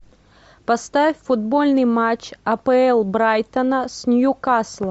поставь футбольный матч апл брайтона с ньюкаслом